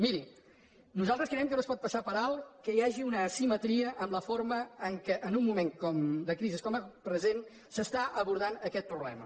miri nosaltres creiem que no es pot passar per alt que hi hagi una asimetria en la forma amb la qual en un moment de crisi com el present s’està abordant aquest problema